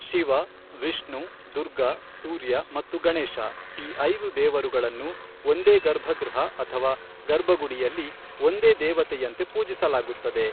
ಶಿವ, ವಿಷ್ಣು, ದುರ್ಗಾ, ಸೂರ್ಯ ಮತ್ತು ಗಣೇಶ, ಈ ಐದು ದೇವರುಗಳನ್ನು ಒಂದೇ ಗರ್ಭಗೃಹ ಅಥವಾ ಗರ್ಭಗುಡಿಯಲ್ಲಿ ಒಂದೇ ದೇವತೆಯಂತೆ ಪೂಜಿಸಲಾಗುತ್ತದೆ.